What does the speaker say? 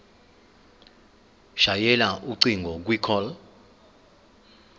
shayela ucingo kwicall